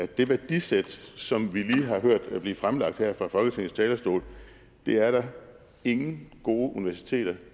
det værdisæt som vi lige har hørt blive fremlagt her fra folketingets talerstol er der ingen gode universiteter